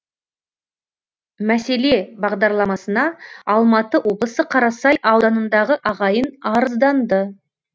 мәселе бағдарламасына алматы облысы қарасай ауданындағы ағайын арызданды